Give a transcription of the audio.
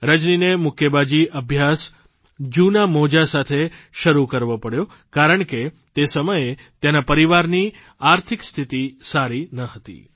રજનીને મુક્કેબાજી અભ્યાસ જૂનાં મોજાં સાથે શરૂ કરવો પડ્યો કારણ કે તે સમયે તેના પરિવારની આર્થિક સ્થિતિ સારી ન હતી